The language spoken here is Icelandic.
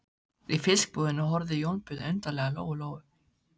Í fiskbúðinni horfði Jónbjörn undarlega á Lóu Lóu.